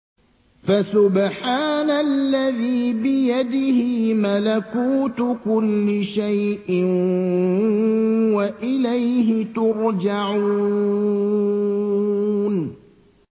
فَسُبْحَانَ الَّذِي بِيَدِهِ مَلَكُوتُ كُلِّ شَيْءٍ وَإِلَيْهِ تُرْجَعُونَ